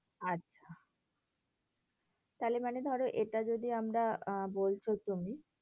আচ্ছা, তাহলে মানে ধরো এটা যদি আমরা আহ বলছো তুমি,